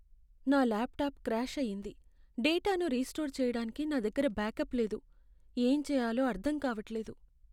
నా laptop crash అయింది, డేటాను రీస్టోర్ చేయడానికి నా దగ్గర బ్యాకప్ లేదు, ఏం చెయ్యాలో అర్ధం కావట్లేదు!